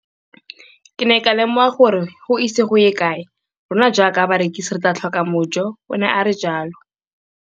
Ke ne ka lemoga gore go ise go ye kae rona jaaka barekise re tla tlhoka mojo, o ne a re jalo.